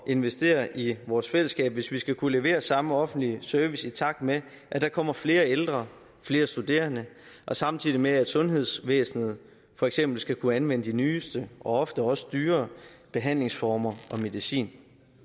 investere i vores fællesskab hvis vi skal kunne levere samme offentlige service i takt med at der kommer flere ældre og flere studerende samtidig med at sundhedsvæsenet for eksempel skal kunne anvende den nyeste og ofte også dyrere behandlingsform og medicin